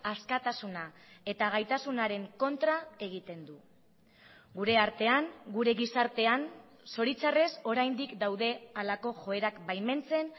askatasuna eta gaitasunaren kontra egiten du gure artean gure gizartean zoritxarrez oraindik daude halako joerak baimentzen